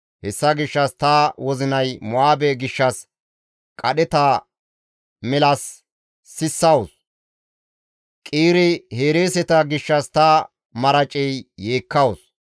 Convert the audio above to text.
Hessa gishshas ta wozinay Mo7aabe gishshas qadheta milas sissawus; Qiire-Hereeseta gishshas ta maraceya yeekkawus.